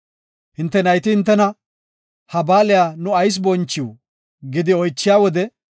Hinte nayti hintena, ‘Ha baaliya nu ayis bonchiw?’ gidi oychiya wode,